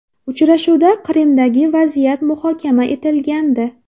Uchrashuvda Qrimdagi vaziyat muhokama etilgandi.